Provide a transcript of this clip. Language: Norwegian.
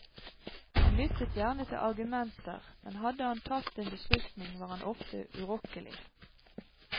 Han lyttet gjerne til argumenter, men hadde han tatt en beslutning, var han ofte urokkelig.